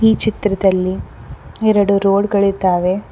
ಈ ಚಿತ್ರದಲ್ಲಿ ಎರಡು ರೋಡ್ ಗಳಿದ್ದಾವೆ.